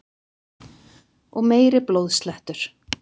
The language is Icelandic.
Og meiri blóðslettur!